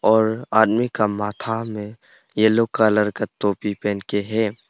और आदमी का माथा में येलो कलर का टोपी पहन के है।